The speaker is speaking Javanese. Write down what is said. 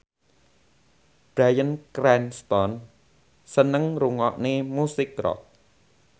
Bryan Cranston seneng ngrungokne musik rock